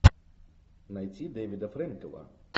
найти дэвида фрэнкела